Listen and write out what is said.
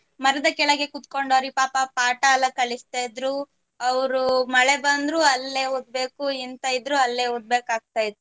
ಮರದ ಕೆಳಗೆ ಕೂತ್ಕೊಂಡು ಅವರಿಗೆ ಪಾಪ ಪಾಠ ಎಲ್ಲ ಕಲಿಸ್ತಾ ಇದ್ರು ಅವ್ರು ಮಳೆ ಬಂದ್ರು ಅಲ್ಲೆ ಓದ್ಬೇಕು ಎಂತಾ ಇದ್ರೂ ಅಲ್ಲೆ ಒದ್ಬೆಕಗ್ತಾಯಿತ್ತು